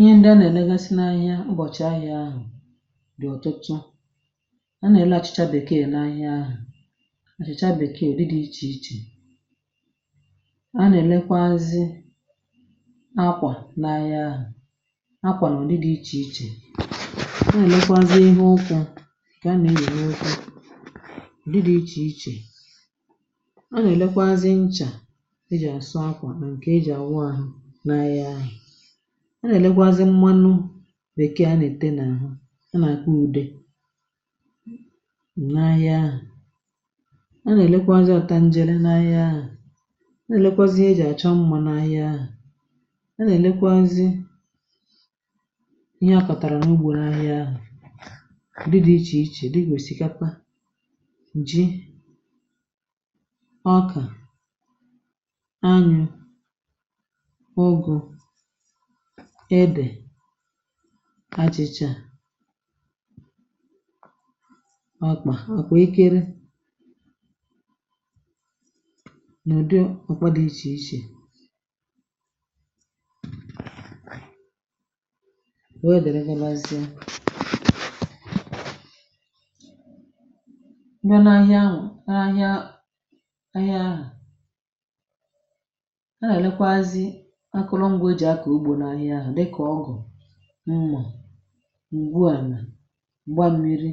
Ihe ndị a nà-ènegasị n’ahịa ụbọ̀chị̀ ahịa ahụ̀ dị̀ ọ̀tụtụ a nà-èle achịcha bèkee n’ahịa ahụ̀ àchịcha bèkee udị dị ichè ichè, a nà-èlekwazi akwà n’ahịa ahụ̀ akwà nà udi dị̇ ichè ichè, ọ nà-èlekwazi ihe ụkwụ̇ nke a nà-èyi na ụkwụ udị̇ dị̇ ichè ichè, a nà-èlekwazi ncha e jì àsụ akwà nà ǹkè e jì ànwụ ahụ̀ n’ahịa ahụ̀, a nà-èlekwazi mmanụ bèkee a nà-ète n’ahụ a nà-àkpo ude n’ahịa ahụ̀, a nà-èlekwazị ọ̀ta njèrè n’ahịa ahụ̀, a nà-èlekwazị ihe jì àchọ mmȧ n’ahịa ahụ̀, a nà-èlekwazị ihe ọkọ̀tàrà n’ugbȯ n’ahịa ahụ̀ udị dị̇ ichè ichè dị kà òsikapa, ji, ọkà, anyụ̀, ugụ̀, edè, achịcha, okpà, okpà èkèrè, n’ụdị ọkwa dị ichè ichè, wee dịrị ga bazịa, ndụ n’ahịa àhịa ahịa ahu, a nà-èlekwazi akụlụngwa eji akụ ụgbọ na-ahịa hụ dikà ọgụ̀, mmà, ngwuàlà, mgbammiri,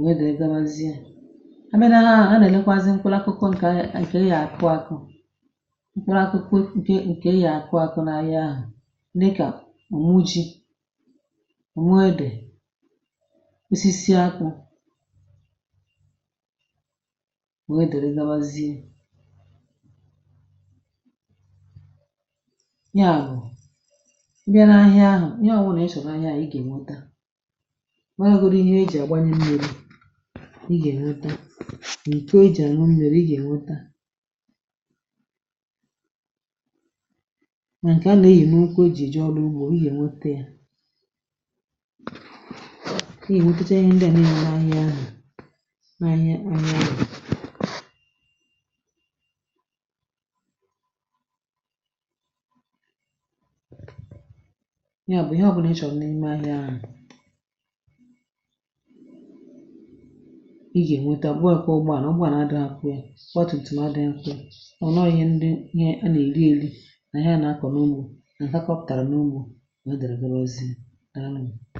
wee dịrị ga bazie, àbia na ȧhià hụ a nà-èlekwazi mkpụlȧkụkụ ǹkè a yà kà ị yà akụ akụ mkpụlụ̇ akụkụ ǹkè ǹkè a yà akụ akụ̇ na ahịa ahụ̀ dikà ònwu ji, ònwu edè, osisi apkụ̇, wee dịrị ga bazie nya bu i bia na ȧhià hụ ihe obula ị chọrọ na ȧhià hụ ịga enweta, ma ya bụrụ godi ihe ejì àgbanyẹ mmiri i ga enweta, nà ịkọ ejì àñu mmi̇ri i ga enweta, nà ǹkẹ̀ à nà eyi n’ukwu ejì eje ọrụ ugbȯ i ga enweta yȧ, ịga nwetechaa ihe ndịà nile nà àhịa hụ̀ nà àhịa àhịa ȧhụ̀ ya bụ̀ ihe ọbụlà ị chọ̀rọ̀ n’ime ahịa hu i ga nwete ma ọbuo dikwa ụgbọala ụgbọala adị̇ akwa yà ọgba tum tum adịghị kwa ya kama ọ̀ nọọ ihe ndị ihe a nà èri èri nà ihe à nà akọ̀rọ̀ n’ugbȯ nà ǹkẹ̀ kọpụ̀tàrà n’ugbȯ wee dịrị ga bazie, daalụ ńu.